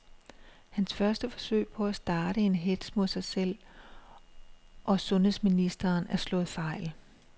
Hans første forsøg på at starte en hetz mod sig selv og sundheds ministeren er slået fejl.